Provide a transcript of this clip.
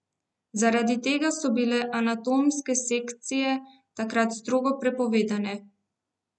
Zaradi tega so bile anatomske sekcije takrat strogo prepovedane.